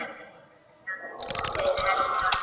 Jæja, segir Helga.